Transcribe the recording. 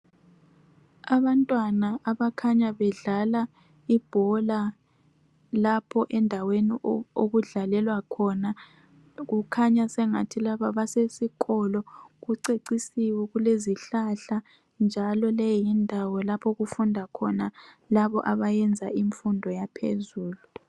abantwana abakhanya bedlala lapho endaweni okudlalelwa khona kukhanya sengathi kusesikolo kucecisiwe kulezihlahla njalo leyi yindawo lapho okufunda khona labo abayenza imfundo yaphezulu